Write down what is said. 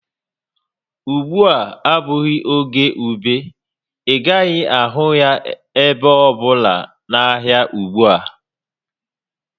Ùgbúà abụghị oge ube, ị gaghị ahụ ya ebe ọ bụla n'ahịa ugbu a